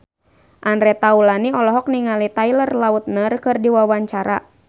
Andre Taulany olohok ningali Taylor Lautner keur diwawancara